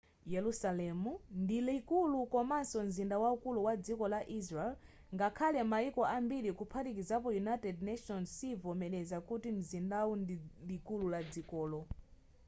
yerusalemu ndi likulu komaso mzinda waukulu wa dziko la israel ngakhale mayiko ambiri kuphatikizapo united nations sivomereza kuti mzindawu ndi likulu la dzikolo